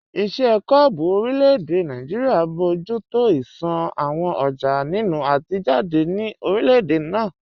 Iṣẹ́ kọ́ọ̀bù orílẹ̀-èdè Nàìjíríà ń bójú tó ìṣàn àwọn ọjà nínú àti jáde ní orílẹ̀-èdè náà